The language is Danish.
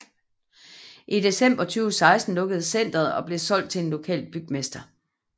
I december 2016 lukkede centeret og blev solgt til en lokal bygmester